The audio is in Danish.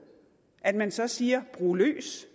at man så siger brug løs